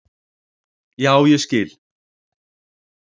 Já, ég skil.